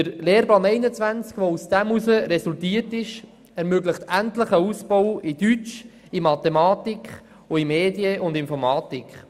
Der Lehrplan 21, der aus dieser Vereinheitlichung resultierte, ermöglicht endlich einen Ausbau in den Fächern Deutsch, Mathematik sowie Medien und Informatik.